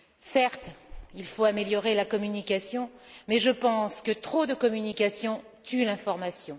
Certes, il faut améliorer la communication mais je pense que trop de communication tue l'information.